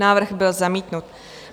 Návrh byl zamítnut.